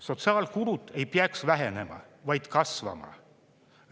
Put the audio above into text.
Sotsiaalkulud ei peaks vähenema, vaid kasvama.